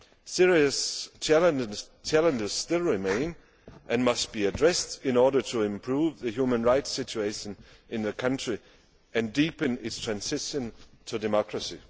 Serious challenges still remain and must be addressed in order to improve the human rights situation in the country and deepen its transition to democracy.